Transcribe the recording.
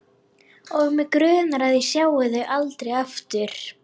Og mig grunar að ég sjái þau aldrei aftur.